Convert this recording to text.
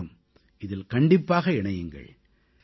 நீங்களும் இதில் கண்டிப்பாக இணையுங்கள்